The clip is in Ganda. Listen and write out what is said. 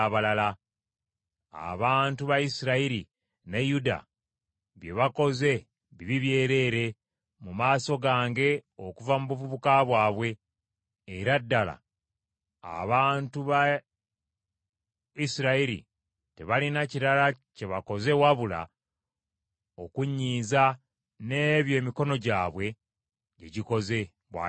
“Abantu ba Isirayiri ne Yuda bye bakoze bibi byereere mu maaso gange okuva mu buvubuka bwabwe; era ddala abantu ba Isirayiri tebalina kirala kye bakoze wabula okunnyiiza n’ebyo emikono gyabwe gye gikoze, bw’ayogera Mukama .